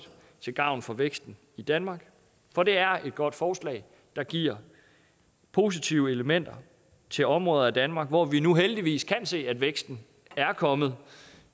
til gavn for væksten i danmark for det er et godt forslag der giver positive elementer til områder af danmark hvor vi nu heldigvis kan se at væksten er kommet